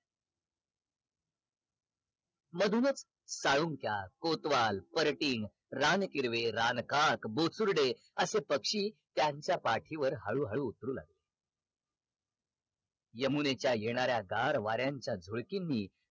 मधूनच साळून्क्या, कोतवाल, परटील, रान किर्वे, रान काक, बोसुर्डे असे पक्षी त्यांच्या पाठीवर हळू हळू उतरू लागले यमुनेच्या येणाऱ्या गार वाऱ्यांच्या झुळकींनी